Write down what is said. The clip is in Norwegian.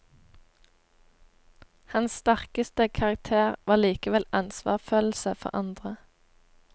Hans sterkeste karakter var likevel ansvarsfølelse for andre.